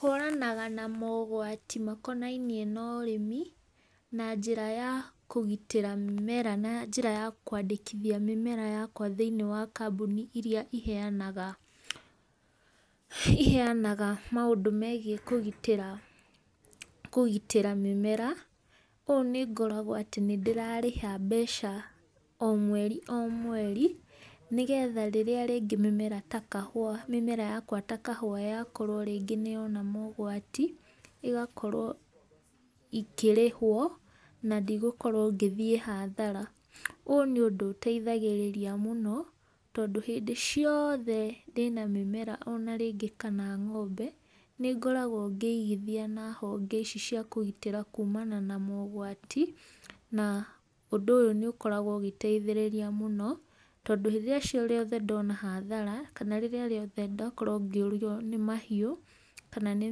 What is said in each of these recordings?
Hũranaga na mogwati makonainie norĩmi na njĩra ya kũgitĩra mĩmera na njĩra ya kwandĩkithia mĩmera yakwa thĩinĩ wa kambuni iria iheyanaga, iheyanaga maũndũ megiĩ kũgitĩra, kũgitĩra mĩmera, ũũ nĩngoragwo atĩ nĩ ndĩrarĩha mbeca o mweri o mweri, nĩgetha rĩrĩa rĩngĩ mĩmera ta kahũwa, mĩmera yakwa ta kahũwa, yakorwo rĩngĩ nĩyona mogwati, ĩgakorwo ikĩrĩhwo, na ndigũkorwo ngĩthiĩ hathara. Ũyũ nĩ ũndũ ũteithagĩrĩria mũno, tondũ hĩndĩ ciothe ndĩna mĩmera onarĩngĩ kana ng'ombe, nĩ ngoragwo ngĩigithia na honge ici ciakũgitĩra kuumana na mogwati, na ũndũ ũyũ nĩ ũkoragwo ũgĩteithĩrĩria mũno, tondũ rĩrĩa ciothe ndona hathara, kana rĩrĩa rĩothe ndakorwo ngĩũrwo nĩ mahiũ, kana nĩ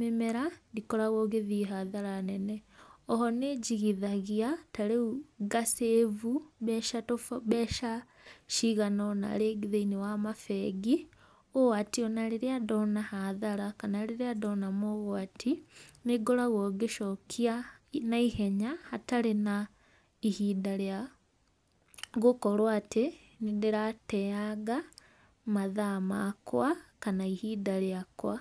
mĩmera, ndikoragwo ngĩthiĩ hathara nene. Oho nĩ njigithagia, tarĩũ nga save mbeca, mbeca ciganaona rĩngĩ thĩinĩ wa mabengi, ũũ atĩ ona rĩrĩa ndona hathara, kana rĩrĩa ndona mogwati, nĩ ngoragwo ngĩcokia naihenya hatarĩ na ihinda rĩa gũkorwo atĩ, nĩ ndĩrateyanga mathaa makwa kana ihinda rĩakwa.